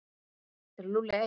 Er Lúlli einn?